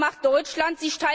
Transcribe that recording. Was macht Deutschland?